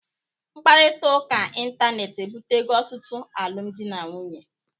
Mkparịta ụka ịntanetị ebitego ọtụtụ alụmdi na nwunye.